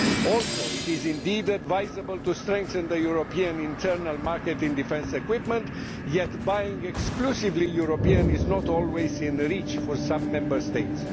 Also, it is indeed advisable to strengthen the European internal market in defence equipment, yet buying exclusively European is not always within the reach of certain Member States.